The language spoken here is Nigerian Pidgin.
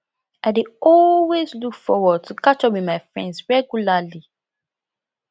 i dey always look forward to catch up with my friends regularly